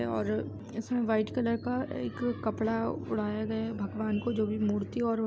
और इसमें white colour का एक कपड़ा ओढ़ाया गया है भगवान को जो भी मूर्ति और --